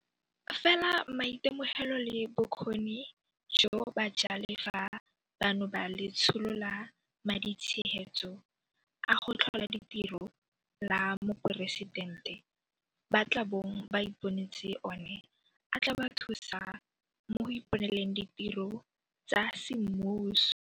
Fela maitemogelo le bokgoni jo bajalefa bano ba Letsholo la Maditshegetso a go Tlhola Ditiro la Moporesitente ba tla bong ba iponetse one a tla ba thusa mo go iponeleng ditiro tsa semmuso.